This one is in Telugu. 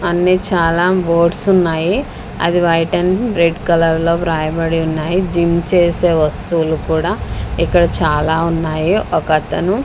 అన్నీ చాలా బోర్డ్స్ ఉన్నాయి అవి వైట్ అండ్ రెడ్ కలర్ లో వ్రాయబడి ఉన్నాయి జిమ్ చేసే వస్తువులు కూడా ఇక్కడ చాలా ఉన్నాయి ఒకతను--